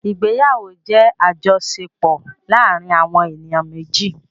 Ìgbéyàwó jẹ́ àjọṣepọ̀ láàárin àwọn èniyàn méjì.